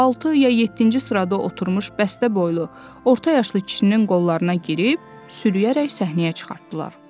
Altı ya yeddinci sırada oturmuş bəstə boylu orta yaşlı kişinin qollarına girib sürüyərək səhnəyə çıxartdılar.